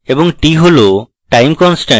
t হল time constant